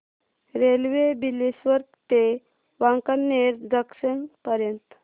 railway Bileshwar ते Wankaner junction पर्यंत